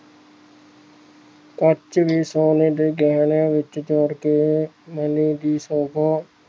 ਪੰਜਵੀ ਸਾਲ ਦੋਜਲਾਂ ਵਿੱਚ ਜਾ ਕੇ ਮਹਿਲਾਂ ਦੀ ਸ਼ੋਭਾ